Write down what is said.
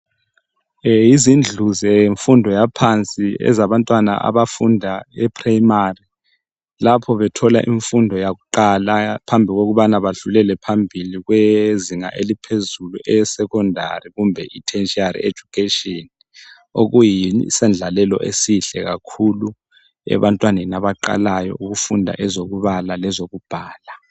Yizindlu zemfundo yaphansi ezabantwana abafunda eprimary lapho bethola imfundo yakuqala phambi kokubana badlulele phambili kwezinga eliphezulu esecondary kumbe iTertiary education, okuyisendlalelo esihle kakhulu ebantwaneni abaqalayo ukufunda ezokubala lezokubhala.